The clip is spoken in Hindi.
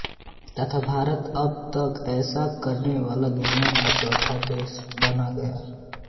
तथा भारत अब तक ऐसा करने वाला दुनिया का चौथा देश बन गया